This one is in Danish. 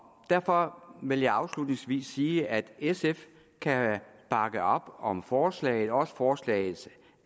derfor vil jeg afslutningsvis sige at sf kan bakke op om forslaget og også om forslagets